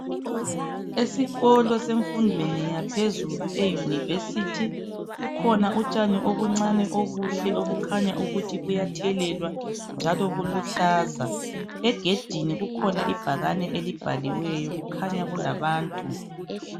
Esikolo semfundweni yaphezulu eYunivesi kukhona utshani obuncane obuhle obukhanya ukuthi buyathelelwa njalo buluhlaza. Egedini kukhona ibhakane elibhaliweyo kukhanya kulabantu.